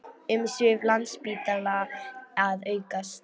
Umsvif Landspítala að aukast